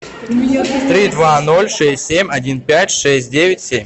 три два ноль шесть семь один пять шесть девять семь